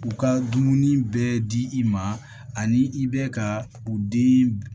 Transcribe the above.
U ka dumuni bɛɛ di i ma ani i bɛ ka u den